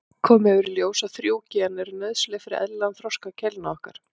Komið hefur í ljós að þrjú gen eru nauðsynleg fyrir eðlilegan þroska keilna okkar.